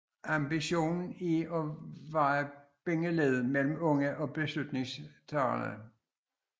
Ambitionen er at være bindeleddet mellem unge og beslutningstagere